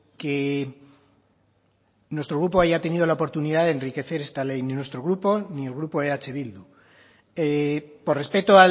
que nuestro grupo haya tenido la oportunidad de enriquecer esta ley ni nuestro grupo ni el grupo eh bildu por respeto